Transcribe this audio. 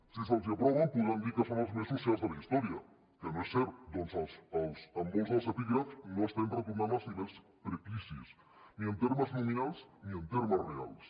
si els els aproven podran dir que són els més socials de la història que no és cert ja que en molts dels epígrafs no estem retornant als nivells precrisi ni en termes nominals ni en termes reals